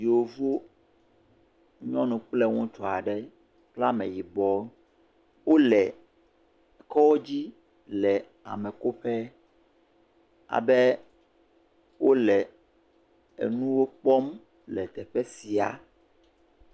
Yevuwo nyɔnu kple ŋutsu aɖe kple ameyibɔ, wole kɔdzi le amekoƒe, abe wole enuwo kpɔm le teƒe sia.